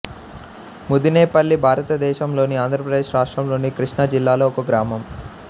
ముదినేపల్లి భారతదేశంలోని ఆంధ్రప్రదేశ్ రాష్ట్రంలోని కృష్ణా జిల్లాలో ఒక గ్రామం